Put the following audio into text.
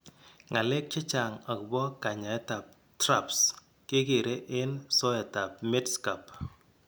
Ngalek chechaang' agobo kanyaayetab TRAPS kekere en soetab Medscape